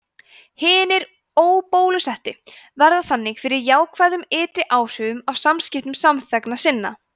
hinir óbólusettu verða þannig fyrir jákvæðum ytri áhrifum af samskiptum samþegna sinna